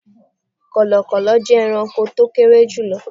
Kọ̀lọ̀kọ̀lọ̀ jẹ́ ẹranko tó kéré jùlọ